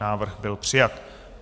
Návrh byl přijat.